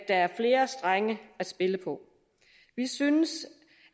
er flere strenge at spille på vi synes